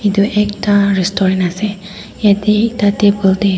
etuh ekta restorant aseh yeteh ekta table teh--